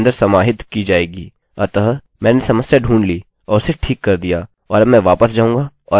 अतःमैंने समस्या ढूँढ ली और उसे ठीक कर दिया और अब मैं वापस जाऊँगा और रिफ्रेशrefresh करूँगा